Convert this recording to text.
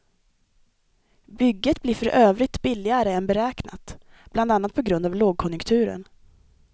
Bygget blir för övrigt billigare än beräknat, bland annat på grund av lågkonjunkturen.